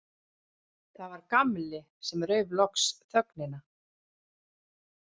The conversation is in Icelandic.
Það var Gamli sem rauf loks þögnina.